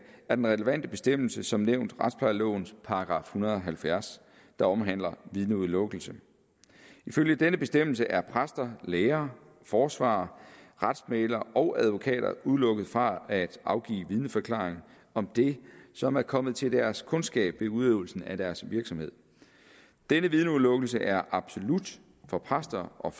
er den relevante bestemmelse som nævnt retsplejelovens § en hundrede og halvfjerds der omhandler vidneudelukkelse ifølge denne bestemmelse er præster læger forsvarere retsmæglere og advokater udelukket fra at afgive vidneforklaring om det som er kommet til deres kundskab ved udøvelsen af deres virksomhed denne vidneudelukkelse er absolut for præster og